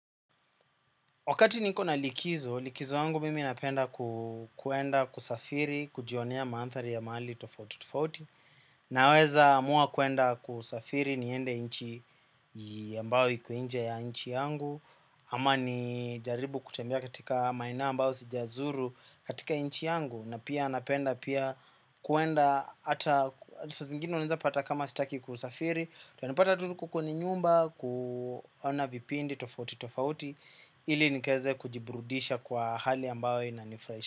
Wakati niko na likizo, likizo yangu mimi napenda kuenda kusafiri, kujionea mandhari ya mahali tofauti tofauti. Naweza amua kuenda kusafiri niende inchi ambayo iko nje ya nchi yangu. Ama ni jaribu kutembea katika maeneo ambayo sijazuru katika inchi yangu. Na pia napenda pia kuenda, ata, saa zingine unaeza pata kama sitaki kusafiri utanipata tu niko kwenye nyumba, kuona vipindi tofauti tofauti. Ili nikaeze kujibrudisha kwa hali ambayo inanifurahisha.